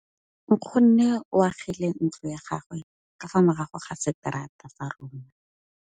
Nkgonne o agile ntlo ya gagwe ka fa morago ga seterata sa rona.